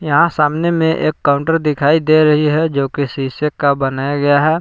यहाँ सामने मे एक काउंटर दिखाई दे रही है जो कि शीशे का बनाया गया है।